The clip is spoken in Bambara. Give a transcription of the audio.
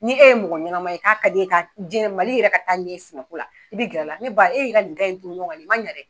Ni e ye mɔgɔ ɲɛnama ye k'a ka di e ye ka jiyɛn Mali yɛrɛ ka taa ɲɛ sɛnɛ ko la i bɛ gɛr'a la ne ba e ye i ka nin gan in turu ɲɔgɔn nin man ɲa dɛ.